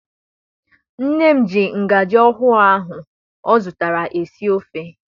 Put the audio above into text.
Nne m ji ngajị ọhụụ ahụ ọ zụtara esi ofe.